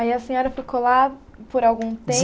Aí a senhora ficou lá por algum